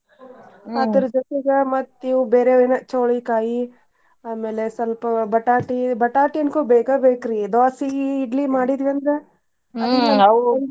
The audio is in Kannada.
ಜೊತೆಗ ಮತ್ತ್ ಇವ್ ಬೇರೆ ಏನಾ ಚವ್ಳಿಕಾಯಿ ಆಮೇಲೆ ಸ್ವಲ್ಪ ಬಟಾಟಿ, ಬಟಾಟಿ ಅಂಕು ಬೇಕಾ ಬೇಕ್ರಿ ದೋಸಿ ಇಡ್ಲಿ ಮಾಡಿದ್ವಿ ಅಂದ್ರ .